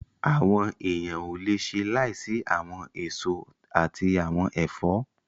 Àwọn èèyàn ò le ṣe láìsí àwọn èso àti àwọn ẹ̀fọ́